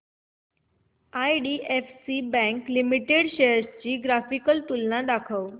IDFC bank limited shares ची graphical तुलना दाखव